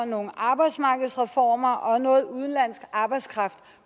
nogle arbejdsmarkedsreformer og noget udenlandsk arbejdskraft